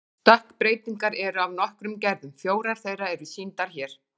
Stökkbreytingar eru af nokkrum gerðum, fjórar þeirra eru sýndar hér.